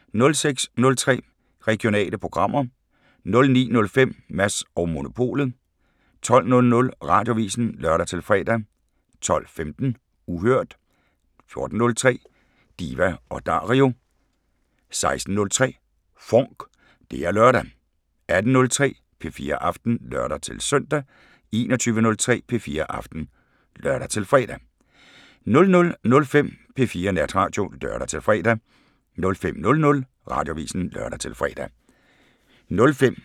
06:03: Regionale programmer 09:05: Mads & Monopolet 12:00: Radioavisen (lør-fre) 12:15: Uhørt 14:03: Diva & Dario 16:03: FONK! Det er lørdag 18:03: P4 Aften (lør-søn) 21:03: P4 Aften (lør-fre) 00:05: P4 Natradio (lør-fre) 05:00: Radioavisen (lør-fre)